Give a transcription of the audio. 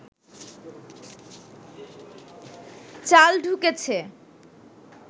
চাল ঢুকেছে